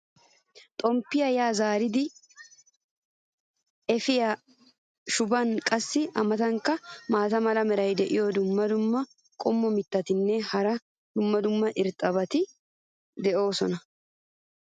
xomppiya yaa zaaridi eppiya shubbaynne qassi a matankka maata mala meray diyo dumma dumma qommo mitattinne hara dumma dumma irxxabati de'oosona.